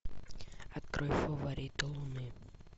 открой фавориты луны